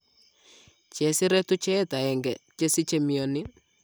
Chesire tucheet aeng'e chesiche mionii